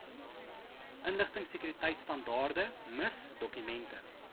inligtingsekuriteitstandaarde miss dokumente